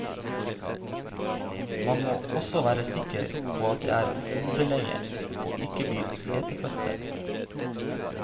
Man må også være sikker på at det er hodeleie, og ikke blir setefødsel.